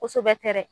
Kosɛbɛ tɛ dɛ